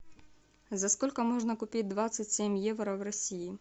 за сколько можно купить двадцать семь евро в россии